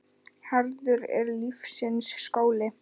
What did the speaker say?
Harður er lífsins skóli.